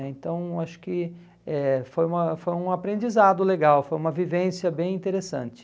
Então, acho que eh foi uma foi um aprendizado legal, foi uma vivência bem interessante.